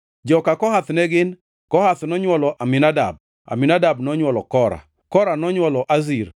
Joka Kohath ne gin: Kohath nonywolo Aminadab, Aminadab nonywolo Kora, Kora nonywolo Asir,